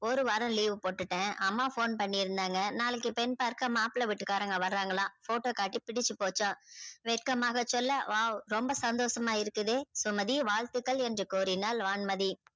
ஒரு வாரம் leave போட்டுட அம்மா போன் பண்ணி இருந்தாங்க நாளைக்கு பெண் பார்க்க மாப்ள வீட்டு காரவங்க வராங்கலாம photo காட்டி புடிச்சி போச்சாம வெக்கமாக சொல்ல wow ரொம்ப சந்தோசமா இருக்குதே சுமதி வாழ்த்துக்கள் என்று கூறினால் வான்மதி